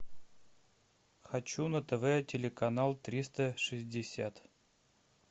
хочу на тв телеканал триста шестьдесят